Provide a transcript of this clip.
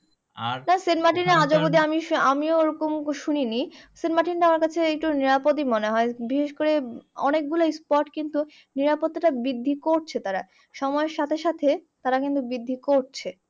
সেন্টমার্টিনে আজ অব্দি আমি আমিও ওরকম শুনি নি। সেন্টমার্টিনটা আমার কাছে একটু নিরাপদই মনে হয়। বিশেষকরে অনেকগুলো spot কিন্তু নিরাপত্তাটা বৃদ্ধি করছে তারা। সময়র সাথে সাথে তারা কিন্তু বৃদ্ধি করছে।